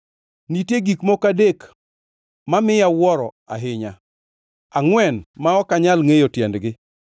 “Nitie gik moko adek mamiya awuoro ahinya, angʼwen ma ok anyal ngʼeyo tiendgi.